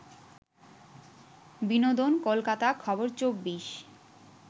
বিনোদন কলকাতা খবর ২৪